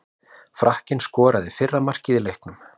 Frakkinn skoraði fyrra markið í leiknum.